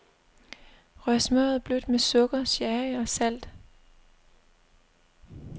Rør smørret blødt med sukker, sherry og salt.